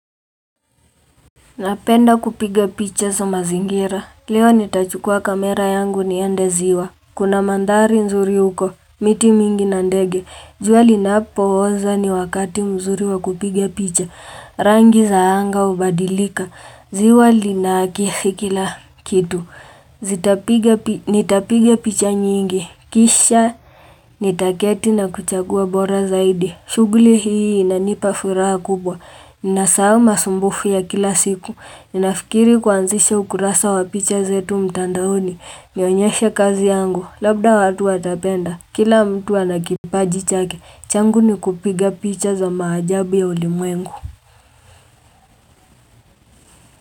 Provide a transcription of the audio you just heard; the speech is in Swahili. Napenda kupiga picha za mazingira. Leo nitachukua kamera yangu niende ziwa. Kuna mandhari nzuri huko, miti mingi na ndege. Jua linapo oza ni wakati mzuri wa kupiga picha. Rangi za anga hubadilika. Ziwa linakifiki kila kitu. Nitapiga picha nyingi. Kisha nitaketi na kuchagua bora zaidi. Shughuli hii inanipa furaha kubwa. Ninasahau masumbufu ya kila siku. Ninafikiri kuanzisha ukurasa wa picha zetu mtandaoni nionyeshe kazi yangu, labda watu watapenda Kila mtu ana kipaji chake, changu ni kupiga picha za maajabu ya ulimwengu.